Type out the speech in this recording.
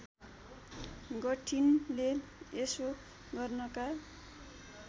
गर्टिनले यसो गर्नका